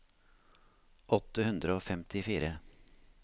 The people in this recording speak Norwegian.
åtte hundre og femtifire